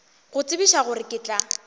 go tsebiša gore ke tla